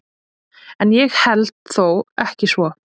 En ég held þó ekki svo.